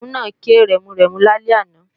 Kìnìún náà ké ramúramù lálẹ́ àná